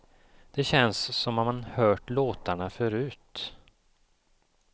Det känns som om man hört låtarna förut.